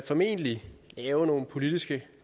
formentlig lave nogle politiske